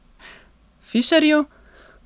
Fišerju?